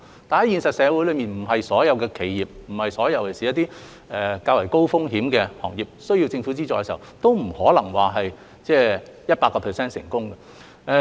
但是，現實社會所有企業，尤其是較高風險行業的企業，需要政府資助的時候，都不可能百分百成功。